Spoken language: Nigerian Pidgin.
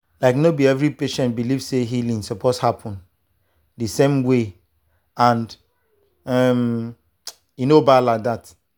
like no be every patient believe say healing suppose happen the same way and um e no bad like that.